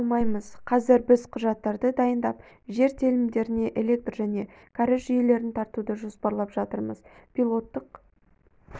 алмаймыз қазір біз құжаттарды дайындап жер телімдеріне электр және кәріз жүйелерін тартуды жоспарлап жатырмыз пилоттық